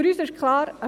Für uns ist klar: